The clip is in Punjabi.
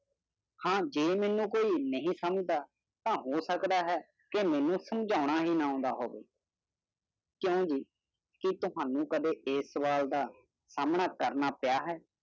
ਹਾਂ ਮੇਨੂ ਕੋਈ ਵੀ ਨਹੀਂ ਸਮਝਿਆ ਜਾ ਸਕਦਾ ਹੈ ਕਿ ਮੇਨੂ ਦੀ ਵਿਆਖਿਆ ਨਾ ਕਰੋ ਕੋਈ ਵੀ? ਤੈ ਤੁਹਾਨੁ ਕਾਦੀ ਕਿਆ ਸਵਾਲ ਦਾ ਸਮਰਾ ਕਰਨਾ ਪਇਆ ਹੈ